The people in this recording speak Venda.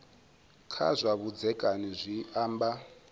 kha zwa vhudzekani zwi amba